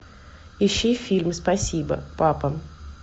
ищи фильм спасибо папа